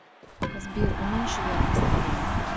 сбер уменьши яркость на пять